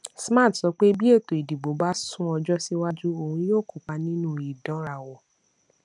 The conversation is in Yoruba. smart sọ pé bí ètò ìdìbò bá sún ọjọ síwájú òun yóò kópa nínú ìdánrawò